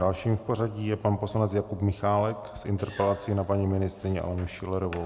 Dalším v pořadí je pan poslanec Jakub Michálek s interpelací na paní ministryni Alenu Schillerovou.